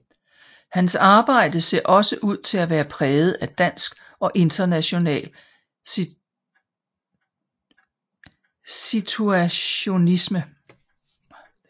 Hans arbejde ser også ud til at være præget af dansk og international situationisme